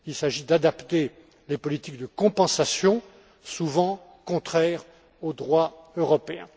Il s'agit d'adapter les politiques de compensation, souvent contraires au droit européen.